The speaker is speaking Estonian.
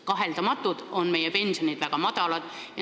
Kaheldamatult on meie pensionid väga madalad.